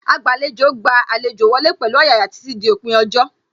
Agbàlejò gba àlejò wọlé pẹ̀lú ọ̀yàyà títí dí òpin ọjọ́